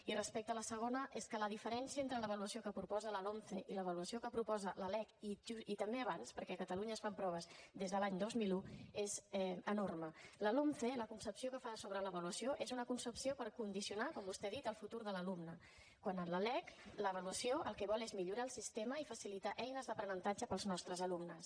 i respecte a la segona és que la diferència entre l’avaluació que proposa la lomce i l’avaluació que proposa la lec i també abans perquè a catalunya es fan proves des de l’any dos mil un és enorme la lomce la concepció que fa sobre l’avaluació és una concepció per condicionar com vostè ha dit el futur de l’alumne quan en la lec l’avaluació el que vol és millorar el sistema i facilitar eines d’aprenentatge per als nostres alumnes